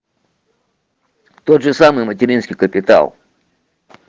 тот же самый материнский капитал